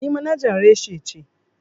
Ni manajar reshi ce.